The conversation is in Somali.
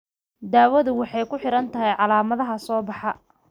Daawadu waxay ku xidhan tahay calaamadaha soo baxa.